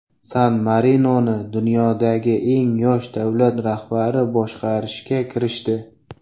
San-Marinoni dunyodagi eng yosh davlat rahbari boshqarishga kirishdi.